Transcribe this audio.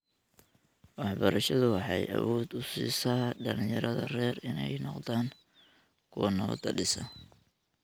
Waxbarashadu waxay awood u siisaa dhalinyarada rer inay noqdaan kuwa nabadda dhisa.